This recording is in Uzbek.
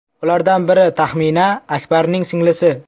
Ulardan biri Taxmina Akbarning singlisi.